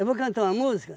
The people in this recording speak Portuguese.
Eu vou cantar uma música